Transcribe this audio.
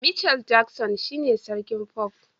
Michael Jackson shine sarkin pop